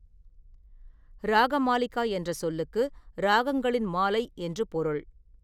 ‘ராகமாலிகா’ என்ற சொல்லுக்கு ‘ராகங்களின் மாலை’ என்று பொருள்.